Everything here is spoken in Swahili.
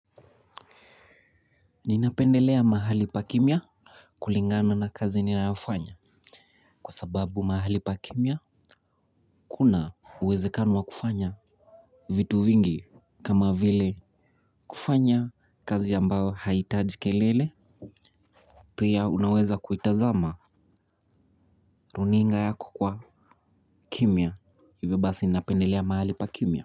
Ninapendelea mahali pa kimya, kulingana na kazi ninayoifanya, kwa sababu mahali pa kimya kuna uwezekano wa kufanya vitu vingi, kama vile kufanya kazi ambayo haitaji kelele. Pia unaweza kuitazama runinga yako kwa kimya. Hivyo basi ninapendelea mahali pa kimya.